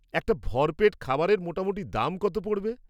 একটা ভরপেট খাবারের মোটামুটি দাম কত পড়বে?